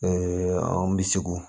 anw bi segu